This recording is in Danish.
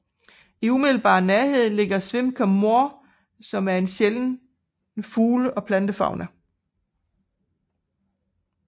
I umiddelbar nærhed ligger Schweimker Moor med en sjælden fugle og plantefauna